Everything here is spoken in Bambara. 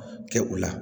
Kɛ u la